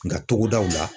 Nga togodaw la